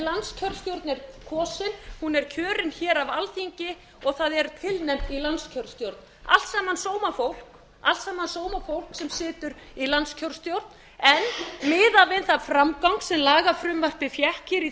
landskjörstjórn er kosin hún er kjörin hér af alþingi og það er tilnefnt í landskjörstjórn allt saman sómafólk allt saman sómafólk sem situr í landskjörstjórn en miðað við þann framgang sem lagafrumvarpið fékk hér í